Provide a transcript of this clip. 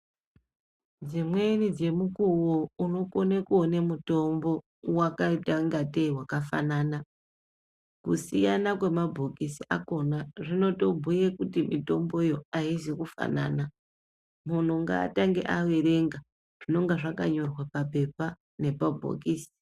Dzimweni dzemukuwo unokone kuona mutombo wakaita ngatei wakafanana kusiyana kwemabhokisi akona zvinotobhuya kuti mitombo yo aizikufanana munhu ngatange averenga zvinenge zvakanyorwa papepa nepabhokisi